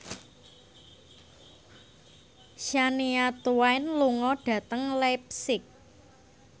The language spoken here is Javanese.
Shania Twain lunga dhateng leipzig